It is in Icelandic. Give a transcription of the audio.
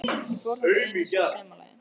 Ég fór þangað einu sinni að sumarlagi.